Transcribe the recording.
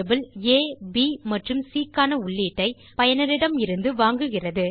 variable a b மற்றும் cக்கான உள்ளீடை பயனரிடமிருந்து வாங்குகிறது